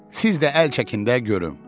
Siz də əl çəkin də, görüm.